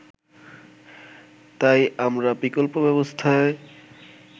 তাই আমরা বিকল্প ব্যবস্থায়